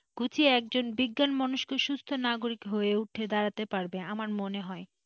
গুছিয়ে একজন বিজ্ঞান মনস্ক সুস্থ নাগরিক হয়ে উঠে দাঁড়াতে পারবে আমার মনে হয়।